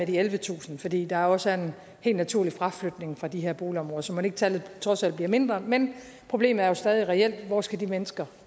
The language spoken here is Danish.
de ellevetusind fordi der også er en helt naturlig fraflytning fra de her boligområder så mon ikke tallet trods alt bliver mindre men problemet er jo stadig reelt hvor skal de mennesker